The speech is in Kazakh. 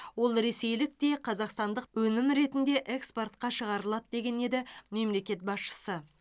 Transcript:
ол ресейлік те қазақстандық та өнім ретінде экспортқа шығарылады деген еді мемлекет басшысы